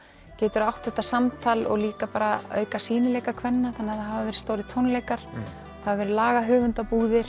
getur átt þetta samtal og líka bara auka sýnileika kvenna þannig að það hafa verið stórir tónleikar það hafa verið